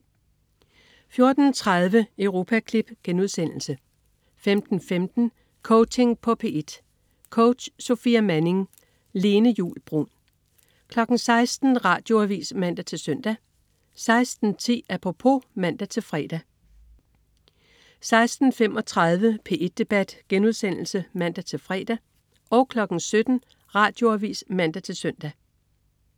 14.30 Europaklip* 15.15 Coaching på P1. Coach: Sofia Manning. Lene Juul Bruun 16.00 Radioavis (man-søn) 16.10 Apropos (man-fre) 16.35 P1 Debat* (man-fre) 17.00 Radioavis (man-søn)